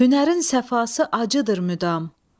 Hünərin sərfası acıdır müdam.